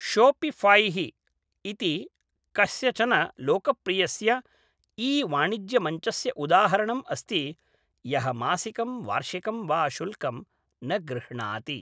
Shopify इति कस्यचन लोकप्रियस्य ई वाणिज्यमञ्चस्य उदाहरणम् अस्ति यः मासिकं वार्षिकं वा शुल्कं न गृह्णाति।